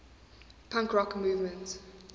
punk rock movement